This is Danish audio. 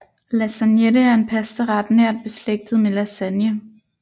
Lasagnette er en pastaret nært beslægtet med lasagne